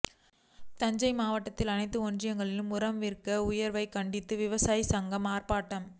தஞ்சை மாவட்டத்தில் அனைத்து ஒன்றியங்களிலும் உரம் விலை உயர்வை கண்டித்து விவசாயிகள் சங்கம் ஆர்ப்பாட்டம்